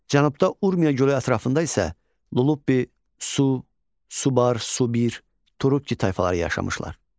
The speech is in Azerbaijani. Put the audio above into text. Cənubda Urmiya gölü ətrafında isə Lullubi, Su, Subar, Subir, Turukki tayfaları yaşamışlar.